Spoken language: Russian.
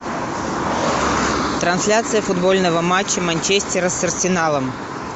трансляция футбольного матча манчестера с арсеналом